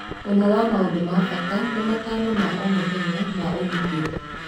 ũmwe wa maũndũ na bata nĩ matano ma o mũthenya ma ũgitĩri